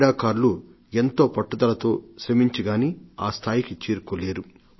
క్రీడాకారులు ఎంతో పట్టుదలతో శ్రమించి గానీ ఆ స్థాయికి చేరుకోలేరు